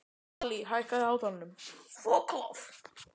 Allý, hækkaðu í hátalaranum.